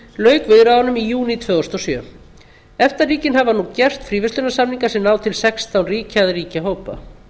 lauk viðræðunum í júní tvö þúsund og sjö efta ríkin hafa nú gert fríverslunarsamninga sem ná til sextán ríkja eða ríkjahópa